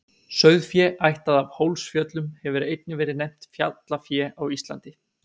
Sauðfé ættað af Hólsfjöllum hefur einnig verið nefnt fjallafé á Íslandi.